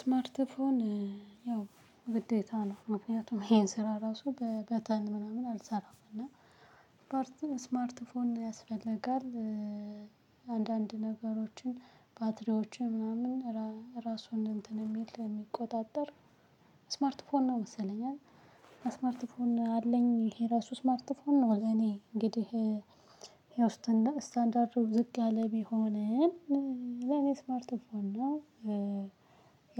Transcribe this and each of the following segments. ስማርት ፎን ያው ግዴታ ነው ምክንያቱም ይሄን ስራ ራሱ በበተን ምናምን አልሰራም። እና ስማርት ስልክ ያስፈልጋል። አንዳንድ ነገሮችን ባትሪዎችን ምናምን ራሱን እንትን የሚል የሚቆጣጠር ስማርት ፎን ነው መሰለኝ? አይደል ስማርት ፎን አለኝ ይሄ ራሱ ስማርት ፎን ነው። እኔ እንግዲህ ያው እንደ ስታንዳርድ ዝቅ ያለ ቢሆንም ለኔ ስማርት ፎን ነው።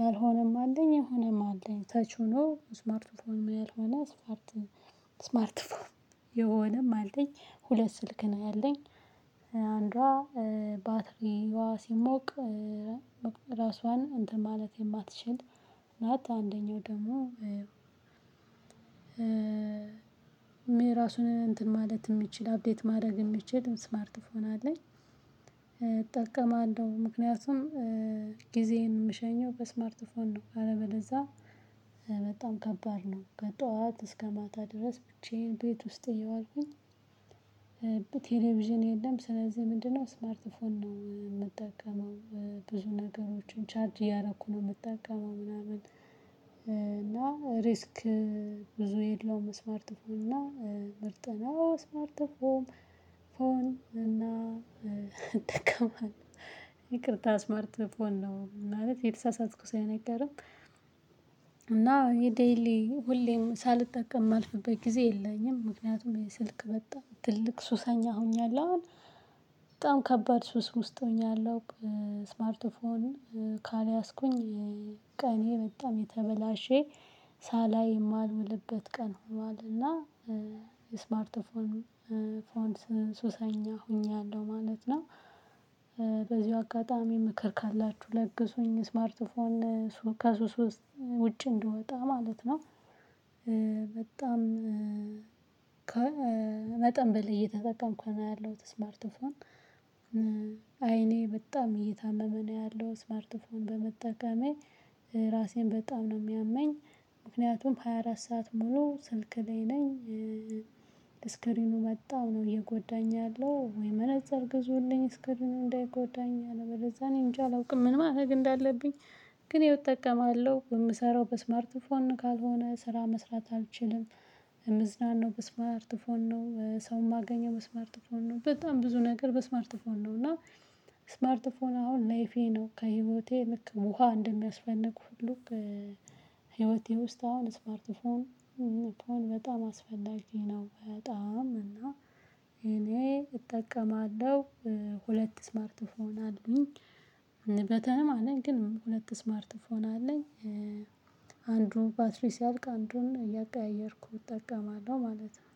ያልሆነም አለኝ የሆነም አለኝ ተች ሆኖ ስማርት ፎን ያልሆነ ስማርት ስማርት ፎን የሆነም አለኝ። ሁለት ስልክ ነው ያለኝ። አንዷ ባትሪዋ ሲሞቅ ራሷን እንትን ማለት የማትችል ናት። አንደኛው ደግሞ ራሱን እንትን ማለት የሚችል አፕዴት ማድረግ የሚችል ስማርት ፎን አለኝ። እጠቀማለው ምክንያቱም ጊዜዬን የምሸኘው በስማርት ፎን ነው። አለበለዚያ በጣም ከባድ ነው። ከጠዋት እስከ ማታ ድረስ ብቻዬን ቤት ውስጥ እየዋልኩኝ። ቴሌቪዥን የለም ስለዚህ ምንድነው ስማርት ፎን ነው የምጠቀመው። ብዙ ነገሮችን ቻርጅ እያደረኩ ነው የምጠቀመው ምናምን። እና ሪስክ ብዙ የለውም። ስማርት ፎን እና ምርጥ ነው። ስማርት ፎን ፎን እና እጠቀማለው ይቅርታ ስማርት ፎን ነው ማለት የተሳሳትኩ ሳይሆን አይቀርም። የዴይሊ ሁሌም ሳልጠቀም ማልፍበት ጊዜ የለኝም ምክንያቱም የስልክ በጣም ትልቅ ሱሰኛ ሆኛለሁ። አሁን በጣም ከባድ ሱስ ውስጥ ሆኛለሁ። ስማርት ፎን ካልያዝኩኝ ቀኔ በጣም የተበላሸ ሳላይ የማልውልበት ቀን ሆኗልና ስማርት ፎም ፎን ሱሰኛ ሆኛለሁ ማለት ነው። በዚሁ አጋጣሚ ምክር ካላችሁ ለግሱኝ ስማርት ከሱስ ውስጥ ውጭ እንድወጣ ማለት ነው። በጣም ከመጠን በላይ እየተጠቀምኩ ነው ያለሁት ስማርት ፎን። አይኔ በጣም እየታመመ ነው ያለው ስማርት ፎን በመጠቀሜ ራሴን በጣም ነው የሚያመኝ። ምክንያቱም ሃያ አራት ሰዓት ሙሉ ስልክ ላይ ነኝ። ስክሪኑ በጣም ነው እየጎዳኝ ያለው ወይ መነፅር ግዙልኝ እስክርኑ እንዳይጎዳኝ። አለበለዚያ እኔን እንጃ አላውቅም ምን ማድረግ እንዳለብኝ? ግን እሄው እጠቀማለሁ የምሰራው በስማርት ፎን ነው ካልሆነ ስራ መስራት አልችልም። ምዝናናው በስማርት ፎን ነው ሰው የማገኘው በስማርት ፎን ነው። በጣም ብዙ ነገር በስማርት ፎን ነው። እና ስማርት ፎን አሁን ላይፌ ነው ከህይወቴ ልክ ውሃ እንደሚያስፈልግ ሁሉ። ህይወቴ ውስጥ አሁን ስማርት ፎም ፎን በጣም አስፈላጊ ነው። በጣም እና እኔ እጠቀማለሁ። ሁለት ስማርት ፎን አሉኝ በተንም ማለት ግን ሁለት ስማርት ፎን አለኝ። አንዱን ባትሪ ሲያልቅ አንዱን እያቀየየርኩ እጠቀማለሁ ማለት ነው